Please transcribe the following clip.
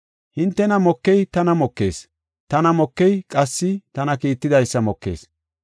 “Hintena mokey tana mokees, tana mokey qassi tana kiittidaysa mokees.